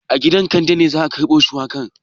A gidan Kande ne za a karbo shuwakan.